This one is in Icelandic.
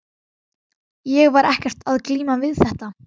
Ég var ekkert að glíma við þetta.